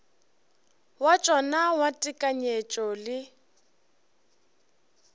wa tšona wa tekanyetšo le